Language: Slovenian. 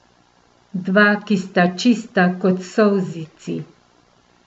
Dva, ki sta čista kot solzici.